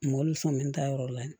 Mɔbili sɔn bɛ n ta yɔrɔ la